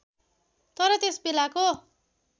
तर त्यस बेलाको